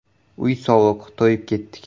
“Uy sovuq, to‘yib ketdik”.